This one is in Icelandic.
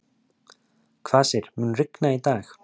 Kvasir, mun rigna í dag?